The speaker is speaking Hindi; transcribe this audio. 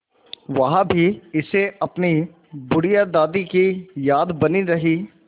वहाँ भी इसे अपनी बुढ़िया दादी की याद बनी रही